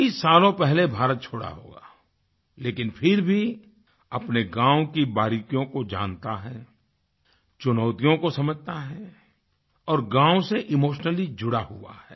कई सालों पहले भारत छोड़ा होगा लेकिन फिर भी अपने गाँव की बारीकियों को जानता है चुनौतियों को समझता है और गाँव से इमोशनली जुड़ा हुआ है